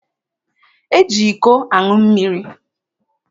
E ji iko aṅụ mmiri.